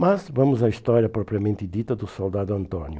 Mas vamos à história propriamente dita do soldado Antônio.